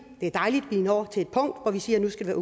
det er dejligt at vi når til et punkt hvor vi siger at nu skal det